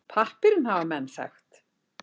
Pappírinn hafa menn þekkt.